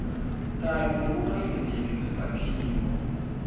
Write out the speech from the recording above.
kabi nekungahleleki kwesakhiwo